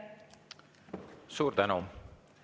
Suur tänu!